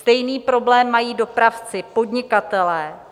Stejný problém mají dopravci, podnikatelé.